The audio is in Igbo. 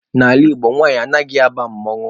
N'ala Igbo, nwanyị anaghị aba mmanwụ.